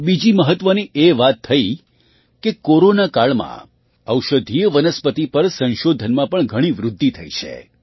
એક બીજી મહત્ત્વની વાત એ થઈ કે કોરોના કાળમાં ઔષધીય વનસ્પતિ પર સંશોધનમાં પણ ઘણી વૃદ્ધિ થઈ છે